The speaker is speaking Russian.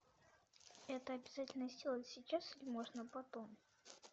это обязательно сделать сейчас или можно потом